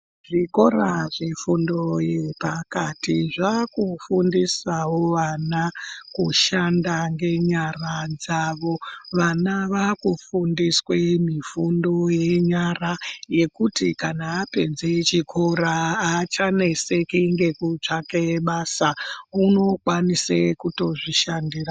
Zvikora zvefundo yepakati zvakufundisawo vana kushanda ngenyara dzavo, vana vakufundiswe mifundo yenyara yekuti kana vapedze chikora haachaneseki ngekutsvake basa. Unokwanise kutozvishandira.